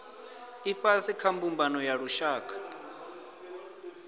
ifhasi kha mbumbano ya lushaka